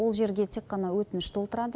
ол жерге тек қана өтініш толтырады